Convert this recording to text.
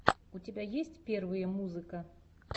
у тебя есть первые музыка